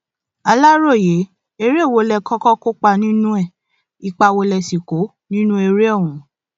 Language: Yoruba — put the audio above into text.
aláròye eré wo lẹ kọkọ kópa nínú ẹ ipa wo lẹ sì kó nínú eré ọhún